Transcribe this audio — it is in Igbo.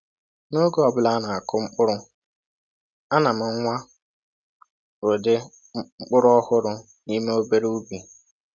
N’oge ọ bụla a na-akụ mkpụrụ, ana m nwaa ụdị mkpụrụ ọhụrụ n’ime obere ubi.